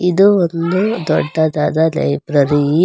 ಇದು ಒಂದು ದೊಡ್ಡದಾದ ಲೈಬ್ರರಿ .